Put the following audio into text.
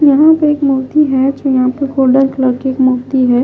यहां पे एक मूर्ती है तो यहां पे गोल्डन कलर की एक मूर्ती है।